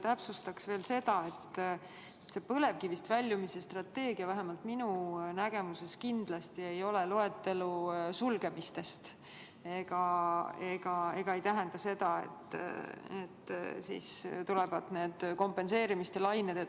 Täpsustaks veel seda, et põlevkivist väljumise strateegia vähemalt minu nägemuses kindlasti ei ole loetelu sulgemistest ega tähenda seda, et siis tulevad need kompenseerimise lained.